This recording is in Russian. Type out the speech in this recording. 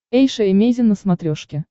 эйша эмейзин на смотрешке